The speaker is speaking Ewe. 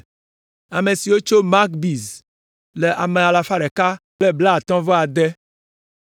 Ame siwo tso Magbis le ame alafa ɖeka kple blaatɔ̃-vɔ-ade (156).